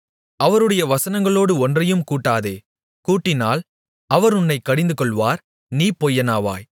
அவருடைய வசனங்களோடு ஒன்றையும் கூட்டாதே கூட்டினால் அவர் உன்னைக் கடிந்துகொள்வார் நீ பொய்யனாவாய்